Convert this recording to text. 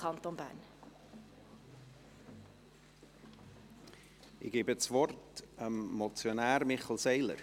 Ich gebe das Wort dem Motionär, Grossrat Seiler.